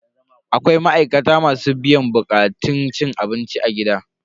Akwai ma'aikata masu biyan bukatun masu cin abinci a gidan abinci.